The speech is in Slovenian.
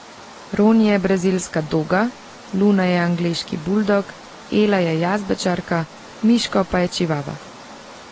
Roni je brazilska doga, Luna je angleški buldog, Ela je jazbečarka, Miško je pa čivava.